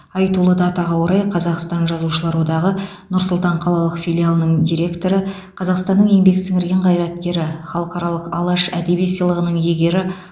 айтулы датаға орай қазақстан жазушылар одағы нұр сұлтан қалалық филиалының директоры қазақстанның еңбек сіңірген қайраткері халықаралық алаш әдеби сыйлығының иегері